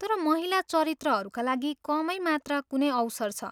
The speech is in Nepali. तर महिला चरित्रहरूका लागि कमै मात्र कुनै अवसर छ।